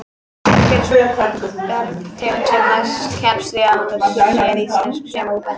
Kannski sú bergtegund sem næst kemst því að vera séríslensk sé móbergið.